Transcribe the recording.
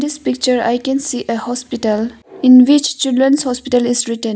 In this picture I can see a hospital in which children's hospital is written.